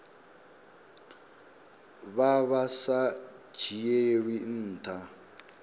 vha vha sa dzhielwi ntha